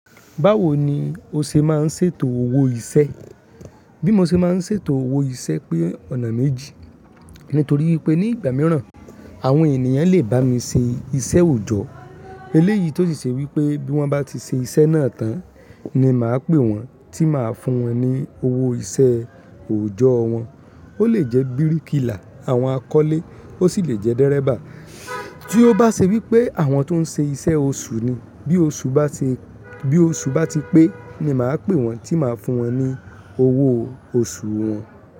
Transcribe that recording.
Báwo ni o ṣe máa ń ṣètò owó iṣẹ́? Bí mo ṣe máa ń ṣètò owó iṣẹ́ pé ọ̀nà méjì. Nítorí wípé ní ìgbà mìíràn àwọn ènìyàn lè bá mi ṣe iṣẹ́ òòjọ́. Eléyìí tó sì ṣe wípé bí wón bá ti ṣe iṣẹ́ náà tán ni màá pè wón tí màá fún wọn ní owó iṣẹ́ òòjọ́ wọn. Ó lè jẹ́ bíríkìlà, àwọn akọ́lé, ó sì lè jẹ́ dẹ́rẹ́bà. Tí ó bá ṣe wípé àwọn tó ń ṣe iṣẹ́ oṣù ni, bí oṣù bá ti, bí oṣù bá ti pé ni màá pè wón tí màá fún wọn ní owó oṣù wọn.